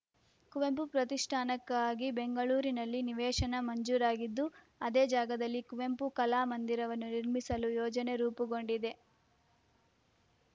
ಕುವೆಂಪು ಪ್ರತಿಷ್ಠಾನಕ್ಕಾಗಿ ಬೆಂಗಳೂರಿನಲ್ಲಿ ನಿವೇಶನ ಮಂಜೂರಾಗಿದ್ದು ಅದೇ ಜಾಗದಲ್ಲಿ ಕುವೆಂಪು ಕಲಾ ಮಂದಿರನ್ನು ನಿರ್ಮಿಸಲು ಯೋಜನೆ ರೂಪುಗೊಂಡಿದೆ